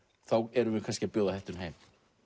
erum við kannski að bjóða hættunni heim